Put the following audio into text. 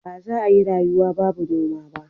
Baza a iya rayuwa ba babu noma